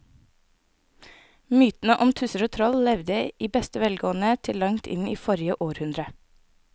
Mytene om tusser og troll levde i beste velgående til langt inn i forrige århundre.